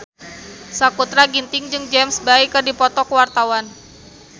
Sakutra Ginting jeung James Bay keur dipoto ku wartawan